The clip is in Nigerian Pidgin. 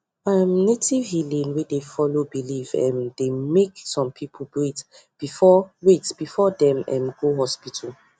um native healing wey dey follow belief um dey make some people wait before wait before dem um go go hospital